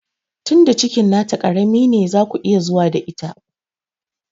Tinda cikin na ta ƙarami ne zaku iya zuwa da ita